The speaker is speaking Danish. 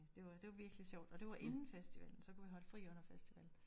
Det var det var virkelig sjovt og det var inden festivallen så kunne vi holde fri under festivallen